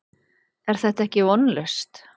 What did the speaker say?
Er þetta ekki vonlaust?